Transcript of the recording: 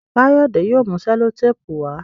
Kayode yóò mú sellotape wá.